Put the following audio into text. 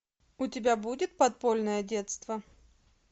у тебя будет подпольное детство